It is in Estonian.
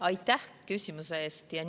Aitäh küsimuse eest!